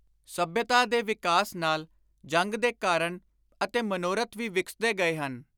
ਸੱਭਿਅਤਾ ਦੇ ਵਿਕਾਸ ਨਾਲ ਜੰਗ ਦੇ ਕਾਰਣ ਅਤੇ ਮਨੋਰਥ ਵੀ ਵਿਕਸਦੇ ਗਏ ਹਨ।